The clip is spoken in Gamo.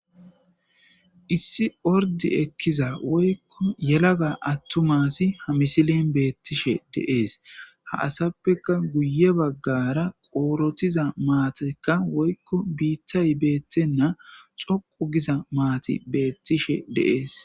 Issi orddi ekiza woykko yelaga atuma asi ha misilen betishe de'es ha asafeka guye baggara oraxxida mattayika woykko bittay bettena dhoqqu giza matti betishe de'es.